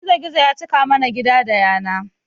Gizo gizo ya cika mana gida da yana